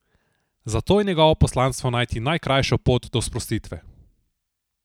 Zato je njegovo poslanstvo najti najkrajšo pot do sprostitve.